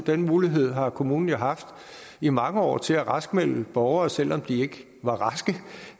den mulighed har kommunen jo haft i mange år til at raskmelde borgere selv om de ikke var raske